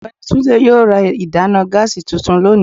ọgbẹni Túndé yóò rà ìdána gáásí túntún lónì